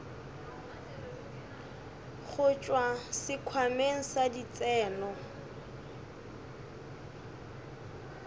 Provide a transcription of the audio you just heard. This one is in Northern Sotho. go tšwa sekhwameng sa ditseno